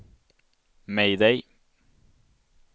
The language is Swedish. mayday